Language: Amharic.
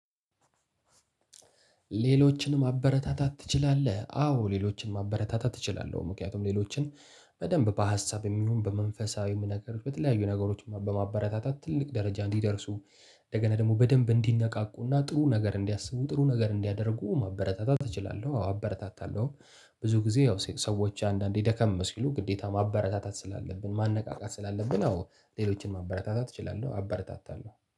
ሌሎችን ማበረታታት ትችላለህ? አዎ ሌሎችን አበረታታት ትችላለህ ምክንያቱም ሌሎችን በደንብ በሀሳብም ይሁን በመንፈሳዊም ነገር በተለያዩ ነገሮች በማበረታታት ትልቅ ደረጃ እንዲደርሱ። እንደገና ደግሞ በደንብ እንዲነቃቁና ጥሩ ነገር እንዲያስቡ ጥሩ ነገር እንዲያደርጉ ማበረታታት እችላለሁ አበረታታለሁ። ብዙ ጊዜ ያው ሰዎች አንዳንዴ ደከም ሲሉ ግዴታ ማበረታታት ስላለብን ማነቃቃት ስላለብን ያው ሌሎችን ማበረታታት እችላለሁ አበረታታለሁ